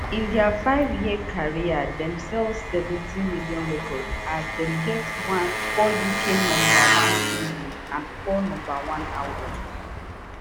in dia five year career dem sell seventy million records as dem get four uk number one singles and four number one albums